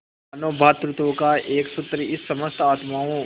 मानों भ्रातृत्व का एक सूत्र इन समस्त आत्माओं